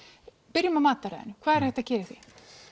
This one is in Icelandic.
byrjum á mataræðinu hvað er hægt að gera í því